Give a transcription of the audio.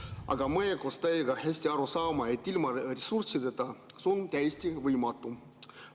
Aga meie koos teiega saame hästi aru, et ilma ressurssideta on see täiesti võimatu.